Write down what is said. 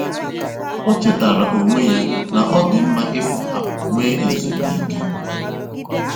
O chétàara onwé ya na ọ́ dị́ mma ị̀pụ́ àpụ́ nwè èzùmkè.